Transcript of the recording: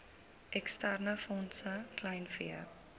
eksterne fondse kleinvee